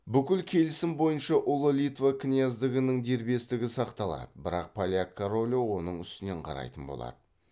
бүкіл келісім бойынша ұлы литва князьдігінің дербестігі сақталады бірақ поляк королі оның үстінен қарайтын болады